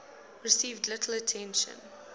received little attention